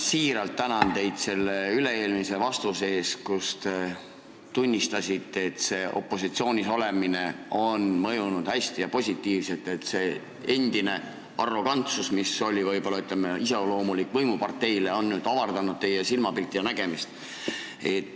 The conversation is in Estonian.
Ma siiralt tänan teid selle üle-eelmise vastuse eest, kus te tunnistasite, et opositsioonis olemine on teile positiivselt mõjunud, et arrogantsus, mis oli iseloomulik võimuparteile, on nüüd vähenenud ja teie nägemisväli laienenud.